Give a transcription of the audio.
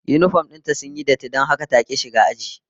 Yinifom din ta sun yi datti don haka ta ki zuwa aji